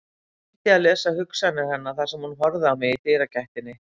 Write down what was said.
Reyndi að lesa hugsanir hennar þar sem hún horfði á mig í dyragættinni.